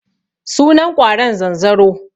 Sunan ƙwaron zanzaro.